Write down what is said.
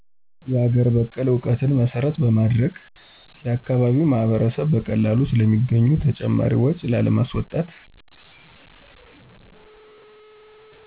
የአገር በቀል እዉትን መሰረት በማድረግ። የአካባቢዉ ማህበረሰብ በቀላሉ ስለሚገኙ ተጨማሪ ወጭ ላማስወጣት